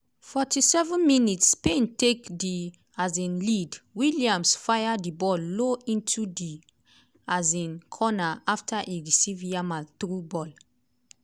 47 mins -spain take di um lead!williams fire di ball low into di um corner afta e receive yamal through ball.